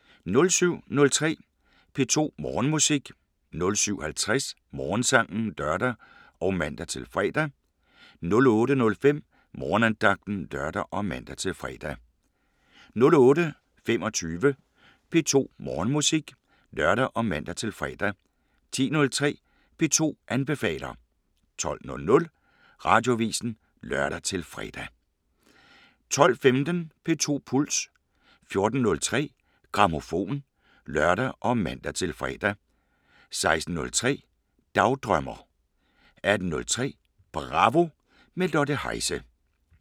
07:03: P2 Morgenmusik 07:50: Morgensangen (lør og man-fre) 08:05: Morgenandagten (lør og man-fre) 08:25: P2 Morgenmusik (lør og man-fre) 10:03: P2 anbefaler 12:00: Radioavisen (lør-fre) 12:15: P2 Puls 14:03: Grammofon (lør og man-fre) 16:03: Dagdrømmer 18:03: Bravo – med Lotte Heise